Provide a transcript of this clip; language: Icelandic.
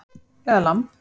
Eða lamb